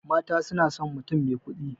Mata sunason mutum mai kuɗi